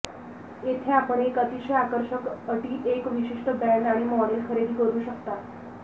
येथे आपण एक अतिशय आकर्षक अटी एक विशिष्ट ब्रँड आणि मॉडेल खरेदी करू शकता